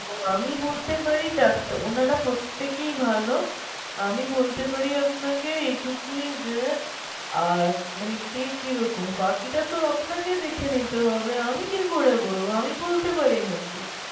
আমি বলতে পারি ডাক্তার ওনারা প্রত্যেকে ভালো আমি বলতে পারি আপনাকে এইটুকুই যে আর যে কে কি রকম বাকিটা তো আপনাকে দেখে নিতে হবে আমি কি করে বলবো আমি বলতে পারি নাকি ?